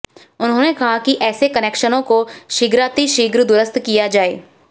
उन्होंने कहा कि ऐसे कनेक्शनों को शीघ्रातिशीघ्र दुरुस्त किया जाये